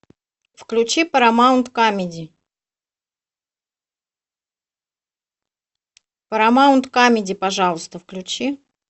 включи парамаунт камеди парамаунт камеди пожалуйста включи